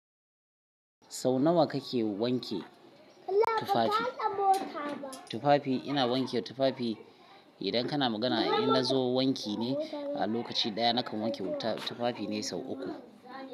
Sau nawa kake wanke tufafi? Tufafi ina wanke tufafi idan kana magana in nazo wanki ne a lokaci daya nakan wanke tufafi ne sau uku.